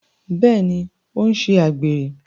Bẹẹni, o n ṣe àgbèrè